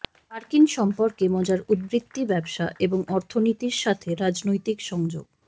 মার্কিন সম্পর্কে মজার উদ্ধৃতি ব্যবসা এবং অর্থনীতির সাথে রাজনৈতিক সংযোগ